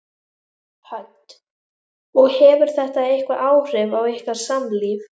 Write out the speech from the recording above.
Hödd: Og hefur þetta eitthvað áhrif á ykkar samlíf?